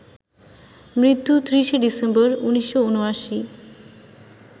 মৃত্যু ৩০শে ডিসেম্বর, ১৯৭৯